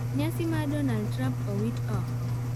Nyasi mar Donald Trump awit ooko.